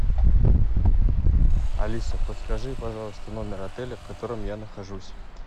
алиса подскажи пожалуйста номер отеля в котором я нахожусь